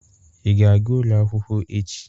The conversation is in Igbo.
Ị ga-aga ụlọ akwụkwọ echi?